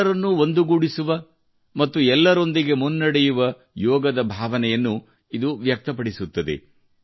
ಎಲ್ಲರನ್ನೂ ಒಂದುಗೂಡಿಸುವ ಮತ್ತು ಎಲ್ಲರೊಂದಿಗೆ ಮುನ್ನಡೆಯುವ ಯೋಗದ ಭಾವನೆಯನ್ನು ಇದು ವ್ಯಕ್ತಪಡಿಸುತ್ತದೆ